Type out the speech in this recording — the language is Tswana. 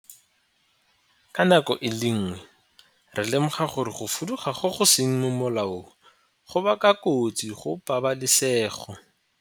Ka nako e le nngwe, re lemoga gore go fuduga go go seng mo molaong go baka kotsi go pabalesego.